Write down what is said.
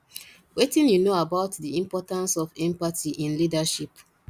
wetin you know about di importance of empathy in leadership